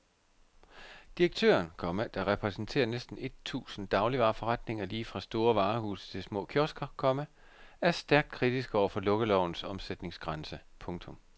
Direktøren, komma der repræsenterer næsten et tusind dagligvareforretninger lige fra store varehuse til små kiosker, komma er stærkt kritisk over for lukkelovens omsætningsgrænse. punktum